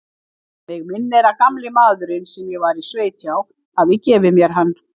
Mig minnir að gamli maðurinn, sem ég var í sveit hjá, hafi gefið mér hann.